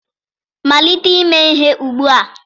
malite ime ihe ugbua!